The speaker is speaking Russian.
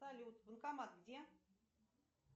салют банкомат где